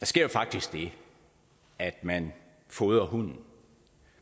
sker jo faktisk det at man fodrer hunden